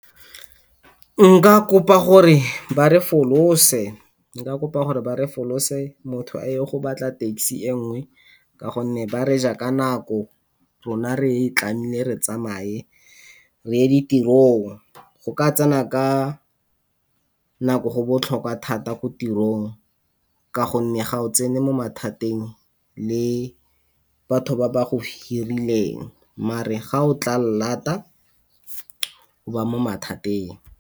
Nka kopa gore ba re folose, nka kopa gore ba re folose motho a ye go batla taxi e nngwe ka gonne ba re ja ka nako. Rona re e tlamehile re tsamaye re ye ditirong go ka tsena ka nako go botlhokwa thata ko tirong, ka gonne ga o tsena mo mathateng le batho ba ba go hireleng mare ga o tla lata o ba mo mathateng.